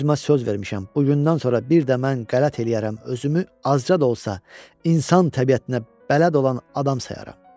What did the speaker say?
Özümə söz vermişəm, bugündən sonra bir də mən qələt eləyərəm özümü azca da olsa insan təbiətinə bələd olan adam sayaram.